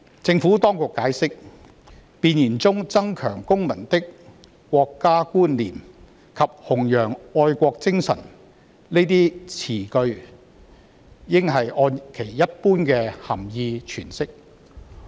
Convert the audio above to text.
政府當局解釋，弁言中"增強公民的國家觀念"及"弘揚愛國精神"等語句應按其一般的涵義詮釋。